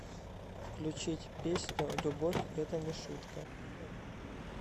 включить песню любовь это не шутка